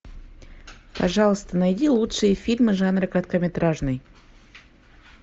пожалуйста найди лучшие фильмы жанра короткометражный